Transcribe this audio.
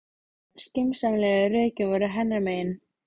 Öll skynsamlegu rökin voru hennar megin.